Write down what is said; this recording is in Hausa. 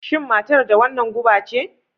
Shin matar da wannan guba ce?